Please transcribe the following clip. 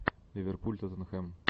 ливерпуль тоттенхэм